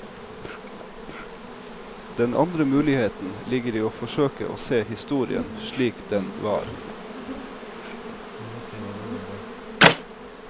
Den andre muligheten ligger i å forsøke å se historien slik den var.